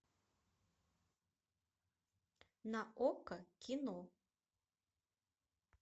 на окко кино